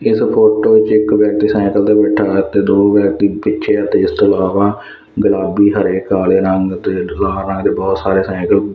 ਇਸ ਫੋਟੋ ਚ ਇੱਕ ਵਿਅਕਤੀ ਸਾਈਕਲ ਤੇ ਬੈਠਾ ਹੈ ਤੇ ਦੋ ਵਿਅਕਤੀ ਪਿੱਛੇ ਅਤੇ ਇਸ ਤੋਂ ਇਲਾਵਾ ਗੁਲਾਬੀ ਹਰੇ ਕਾਲੇ ਰੰਗ ਦੇ ਬਹੁਤ ਸਾਰੇ ਸਾਈਕਲ--